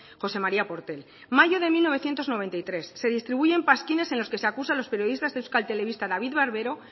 josé maría portel mayo de mil novecientos noventa y tres se distribuyen pasquines en los que se acusa a los periodistas de euskal telebista david barbero